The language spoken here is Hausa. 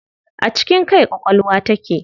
A cikin kai ƙwaƙwalwa take.